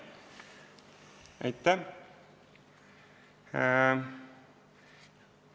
Aitäh!